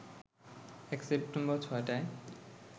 ১ September ৬টায়